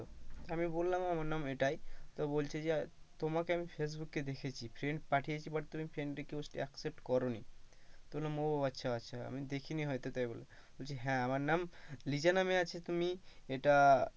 আমি বললাম আমার নাম এটাই তো বলছে যে তোমাকে আমি ফেইসবুক এ দেখেছি friends পাঠিয়েছি but তুমি friend request accept করো নি তো বললাম ও আচ্ছা আচ্ছা আমি দেখি নি হয়তো তাই বললাম, তো বলছে হ্যাঁ আমার নাম লিজা নাম আছে, তুমি এইটা,